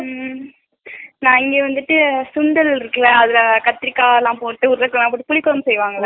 ஊம் காலைலயே வந்திட்டு சுண்டல் இருக்குல அதுல கத்தீரிக்கா எல்லா போட்டு ஒரு புளிக்குழம்பு செய்வாங்கள